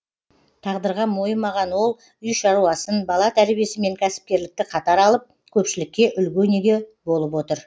тағдырға мойымаған ол үй шаруасын бала тәрбиесі мен кәсіпкерлікті қатар алып көпшілікке үлгі өнеге болып отыр